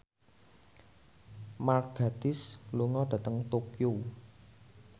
Mark Gatiss lunga dhateng Tokyo